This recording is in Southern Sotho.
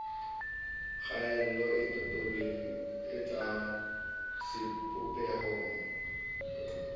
kgaello e totobe tseng sebopehong